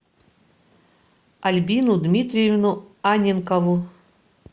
альбину дмитриевну анненкову